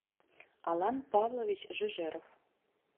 алан павлович жежеров